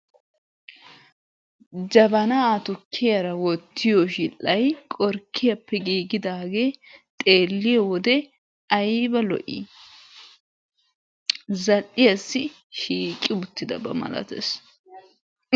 Jabanaa tukkiyara wottiyo shidhdhay qorkkiyappe gigidaagee xeelliyo wode ayiba lo'i! Zal'iyassi shiiqi uttidaba malatees.